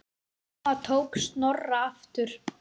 Mamma tók Snorra aftur.